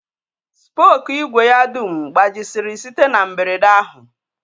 Spookụ ìgwè ya dum gbajisịrị site na mberede ahụ